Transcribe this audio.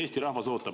Eesti rahvas ootab.